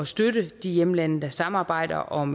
støtte de hjemlande der samarbejder om